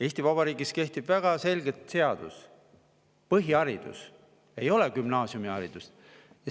Eesti Vabariigis kehtib väga selge seadus: põhiharidus, ei ole gümnaasiumiharidus.